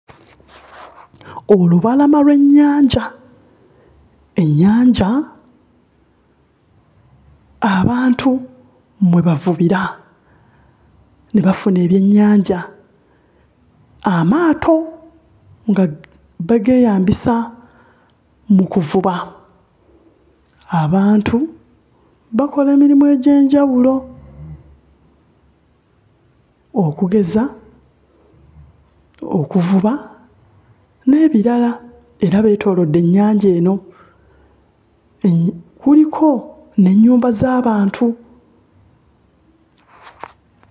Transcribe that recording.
Olubalama lw'ennyanja. Ennyanja abantu mwe bavubira ne bafuna ebyennjanja amaato nga bageeyambisa mu kuvuba. Abantu bakola emirimu egy'enjawulo okugeza okuvuba n'ebirala era lwetoolodde ennyanja eno eeh kuliko n'ennyumba z'abantu.